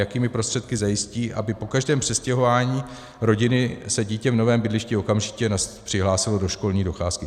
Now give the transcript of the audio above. Jakými prostředky zajistí, aby po každém přestěhování rodiny se dítě v novém bydlišti okamžitě přihlásilo do školní docházky?